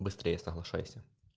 быстрее соглашайся